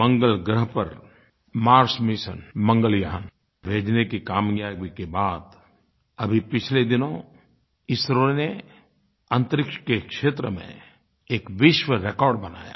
मंगल ग्रह पर Mars mission Mangalyaan भेजने की कामयाबी के बाद अभी पिछले दिनों इसरो ने अन्तरिक्ष के क्षेत्र में एक विश्व रिकॉर्ड बनाया